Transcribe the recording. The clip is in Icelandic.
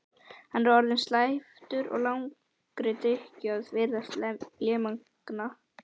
Hann er orðinn slæptur af langri drykkju og virðist lémagna.